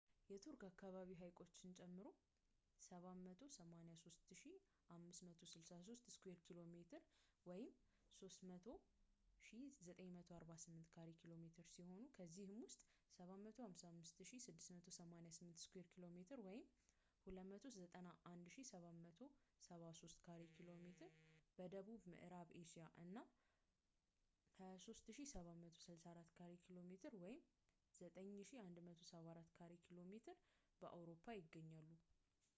የቱርክ አካባቢ ሐይቆችን ጨምሮ 783,562 ስኩዌር ኪ.ሜ. 300,948 ካሬ ኪ.ሜ. ሲሆን ከዚህ ውስጥ 755,688 ስኩዌር ኪ.ሜ 291,773 ካሬ ኪ.ሜ በደቡብ ምዕራብ እስያ እና 23,764 ካሬ ኪ.ሜ 9,174 ካሬ ኪ.ሜ በአውሮፓ ይገኛሉ